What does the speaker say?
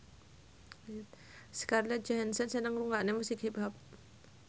Scarlett Johansson seneng ngrungokne musik hip hop